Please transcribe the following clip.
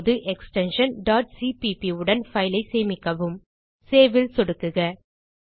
இப்போது extension cpp உடன் file ஐ சேமிக்கவும் சேவ் ல் சொடுக்குக